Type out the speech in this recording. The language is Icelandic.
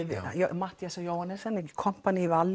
Matthíasar Johannessen í kompaní við